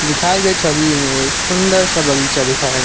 दिखाए गए छवि में एक सुंदर सा बगीचा दिखाया गया।